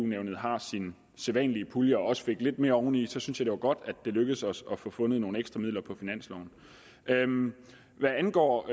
nævnet har sin sædvanlige pulje og også fik lidt mere oveni så synes jeg det var godt at det lykkedes os at få fundet nogle ekstra midler på finansloven hvad angår